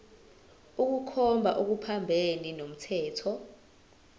ukukhomba okuphambene nomthetho